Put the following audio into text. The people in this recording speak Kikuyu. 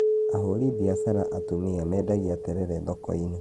Ahũri mbiacara atumia mendagia terere thoko-inĩ